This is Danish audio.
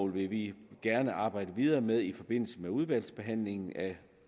vil vi gerne arbejde videre med i forbindelse med udvalgsbehandlingen af